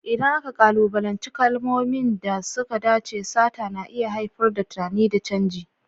Idan aka kalubalanci kalmomin da suka dace, sata na iya haifar da tunani da canji.